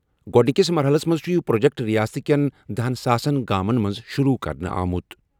گۄڈٕنِکِس مرحلَس منٛز چھُ یہِ پروجیکٹ ریاست کٮ۪ن دہَس ساسن گامَن منٛز شروع کرنہٕ آمُت۔